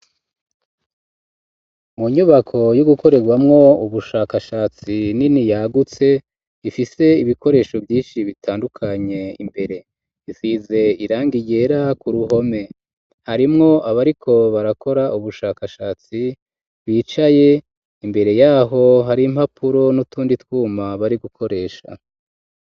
Mu nyubako yo gukorerwamwo ubushakashatsi nini yagutse, ifise ibikoresho vyinshi bitandukanye imbere. Isize irangi ryera ku ruhome. Harimwo abariko barakora ubushakashatsi bicaye, imbere yaho hari impapuro n'utundi twuma bari gukoresha.